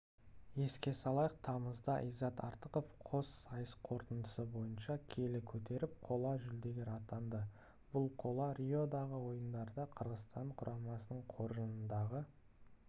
еске салайық тамызда иззат артықов қос сайыс қорытындысы бойынша келі көтеріп қола жүлдегер атанды бұл қола риодағы ойындарда қырғызстан құрамасының қоржынындағы